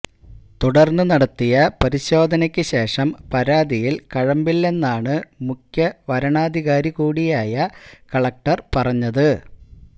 തുടര്ന്ന് നടത്തിയ പരിശോധനയ്ക്കുശേഷം പരാതിയില് കഴമ്പില്ലെന്നാണ് മുഖ്യ വരണാധികാരി കൂടിയായ കലക്ടര് പറഞ്ഞത്